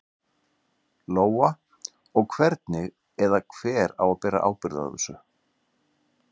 Lóa: Og hvernig, eða hver á að bera ábyrgð á þessu?